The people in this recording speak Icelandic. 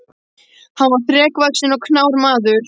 Hann var þrekvaxinn og knár maður.